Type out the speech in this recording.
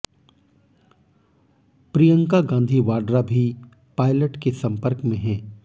प्रियंका गांधी वाड्रा भी पायलट के संपर्क में हैं